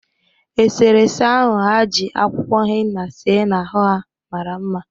Esere ese ahụ ha ji akwụkwọ henna see n'ahụ ha mara mma